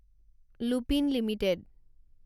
Lupin limited